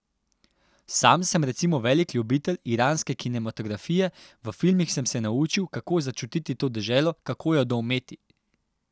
Sam sem recimo velik ljubitelj iranske kinematografije, v filmih sem se naučil, kako začutiti to deželo, kako jo doumeti.